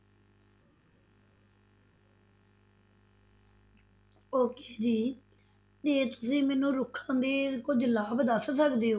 Okay ਜੀ ਤੇ ਤੁਸੀਂ ਮੈਨੂੰ ਰੁੱਖਾਂ ਦੇ ਕੁੱਝ ਲਾਭ ਦੱਸ ਸਕਦੇ ਹੋ?